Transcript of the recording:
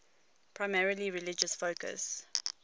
primarily religious focus